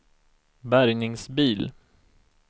bärgningsbil